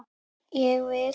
Ég vil!